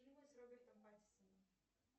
фильмы с робертом патисоном